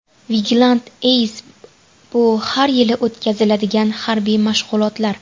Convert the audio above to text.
Vigilant Ace – bu har yili o‘tkaziladigan harbiy mashg‘ulotlar.